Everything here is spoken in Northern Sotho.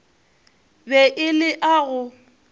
be e le a go